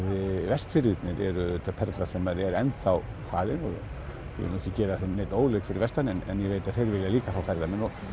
Vestfirðirnir eru auðvitað perla sem er enn þá falin og ég vil ekki gera neinum óleik fyrir vestan en ég veit að þeir vilja líka fá ferðamenn og